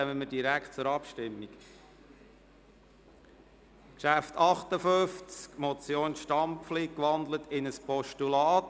Dann kommen wir direkt zur Abstimmung über das Traktandum 58, Motion Stampfli, umgewandelt in ein Postulat.